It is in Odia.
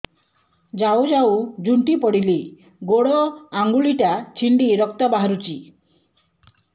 ଯାଉ ଯାଉ ଝୁଣ୍ଟି ପଡ଼ିଲି ଗୋଡ଼ ଆଂଗୁଳିଟା ଛିଣ୍ଡି ରକ୍ତ ବାହାରୁଚି